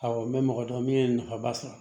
Awɔ n bɛ mɔgɔ dɔn min ye nafaba sɔrɔ